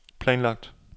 planlagt